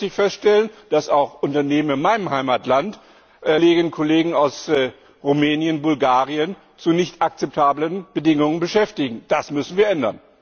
Leider muss ich feststellen, dass auch Unternehmen in meinem Heimatland, Kolleginnen und Kollegen aus Rumänien und Bulgarien zu nicht akzeptablen Bedingungen beschäftigen. Das müssen wir ändern!